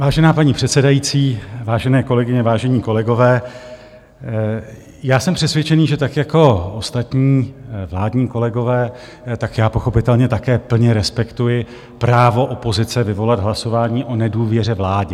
Vážená paní předsedající, vážené kolegyně, vážení kolegové, já jsem přesvědčen, že tak jako ostatní vládní kolegové, tak já pochopitelně také plně respektuji právo opozice vyvolat hlasování o nedůvěře vládě.